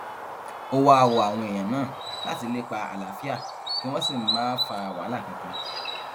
ó wáá rọ àwọn èèyàn náà láti lépa àlàáfíà kí wọn sì ńmà fa wàhálà kankan